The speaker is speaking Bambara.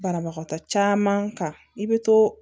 Banabagatɔ caman kan i bɛ to